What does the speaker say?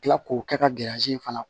Kila k'o kɛ ka in fana